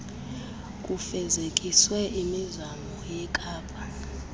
kufezekiswe imizamo yekapa